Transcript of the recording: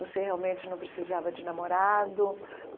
Você realmente não precisava de namorado.